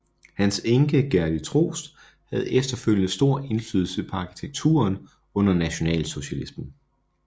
Hans enke Gerdy Troost havde efterfølgende stor indflydelse på arkitekturen under nationalsocialismen